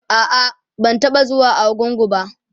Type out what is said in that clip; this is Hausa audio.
a'a ban taɓa zuwa argungu ba